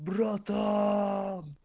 братан